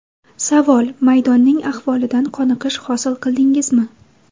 Savol: Maydonning ahvolidan qoniqish hosil qildingizmi?